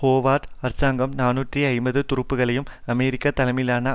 Howard அரசாங்கம் நாநூற்று ஐம்பது துருப்புக்களை அமெரிக்க தலைமையிலான